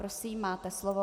Prosím, máte slovo.